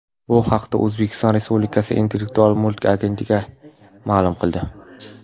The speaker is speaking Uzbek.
Bu haqda O‘zbekiston respublikasi Intellektual mulk agentligi ma’lum qildi .